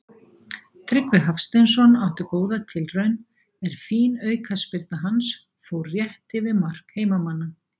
Tryggvi Hafsteinsson átti góða tilraun er fín aukaspyrna hans fór rétt yfir mark heimamanna.